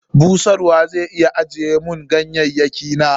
Busharwa zai iya ajiye mun ganyayyaki na?